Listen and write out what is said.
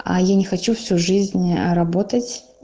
а я не хочу всю жизнь работать